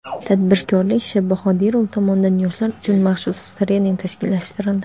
tadbirkor Sh.Bahodirov tomonidan yoshlar uchun maxsus trening tashkillashtirildi.